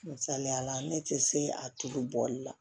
Misaliyala ne tɛ se a tulu bɔli la